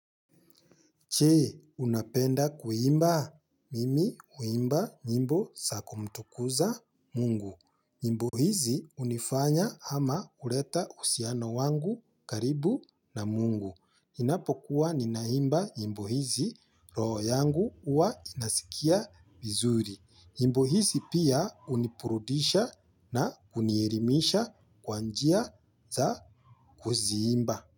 Je, unapenda kuimba? Mimi huimba nyimbo za kumtukuza mungu. Nyimbo hizi hunifanya ama kuleta uhusiano wangu karibu na mungu. Ninapokuwa ninaimba nyimbo hizi roho yangu huwa inasikia vizuri. Nyimbo hizi pia uniburudisha na hunielimisha kwa njia za kuziimba.